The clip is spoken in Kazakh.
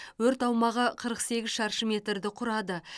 өрт аумағы қырық сегіз шаршы метрді құрады